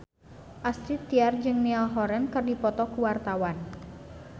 Astrid Tiar jeung Niall Horran keur dipoto ku wartawan